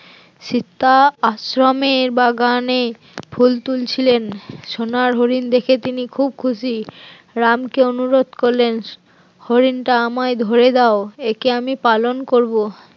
সীতা আশ্রমের বাগানে ফুল তুলছিলেন, সোনার হরিণ দেখে তিনি খুব খুশি, রাম কে অনুরোধ করলেন হরিণটা আমায় ধরে দাও একে আমি পালন করব